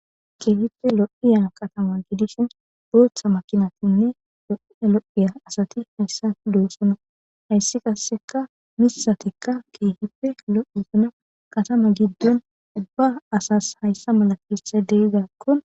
keehipfe lo7iya katama gidishin booththa makinatinne lo7ia lo7iya asati hayssa luesuna hayssi qasseka misatikka keehippe lo7u usuna katama giddon ubba asas hayssa mala kethay deyizakkon